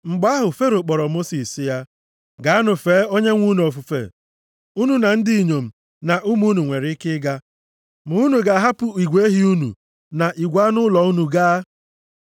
Mgbe ahụ, Fero kpọrọ Mosis sị ya, “Gaanụ fee Onyenwe anyị unu ofufe. Unu na ndị inyom na ụmụ unu nwere ike ịga, ma unu ga-ahapụ igwe ehi unu na igwe anụ ụlọ unu gaa.”